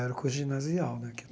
Era o curso ginasial, né que?